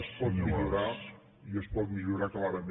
es pot millorar i es pot millorar clarament a l’alça